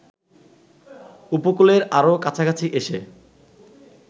উপকূলের আরো কাছাকাছি এসে